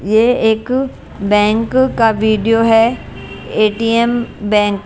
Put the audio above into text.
ये एक बैंक का वीडियो है एटीएम बैंक --